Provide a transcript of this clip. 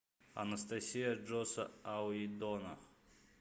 анастасия джосса уидона